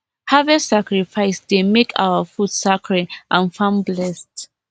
harvest sacrifice dey make our food sacred and farm blessed